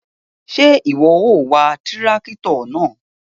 Ṣe iwọ o wá tìràkitọ náà?